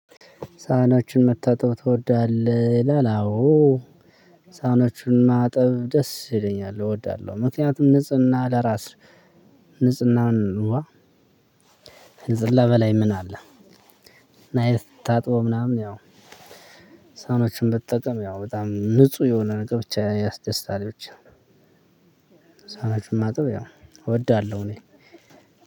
ሳህኖችን መታጠብ ትወዳለህ ይላል? አዎ ሳህኖቹን ማጠብ ደስ ይለኛል እወዳለሁ። ምክንያቱም ንጽህና ለራስ ንጽህናዋ ከንጽህና በላይ ምን አለ? ናይት ታጥቦ ምናምን ያው ሳህኖቹን ብትጠቀም ያው በጣም ንጹህ የሆነ ነገር ብቻ ያስደስታል። ይቺ ሳህኖቹን ማጠብ ያው እወዳለሁ። እኔ